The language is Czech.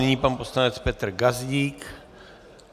Nyní pan poslanec Petr Gazdík.